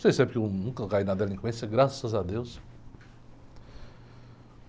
Não sei se é porque eu nunca caí na delinquência, graças a deus.